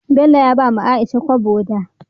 Bello ya bawa aisha kobo da